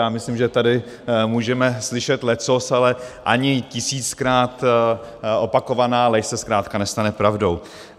Já myslím, že tady můžeme slyšet leccos, ale ani tisíckrát opakovaná lež se zkrátka nestane pravdou.